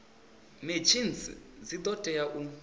machines dzi do tea u